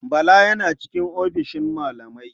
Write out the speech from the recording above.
Bala yana cikin ofishin malamai.